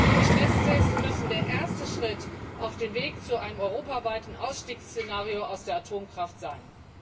Die Stresstests müssen der erste Schritt auf dem Weg zu einem europaweiten Ausstiegsszenario aus der Atomkraft sein.